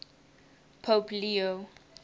pope leo